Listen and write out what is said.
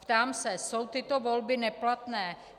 Ptám se: Jsou tyto volby neplatné?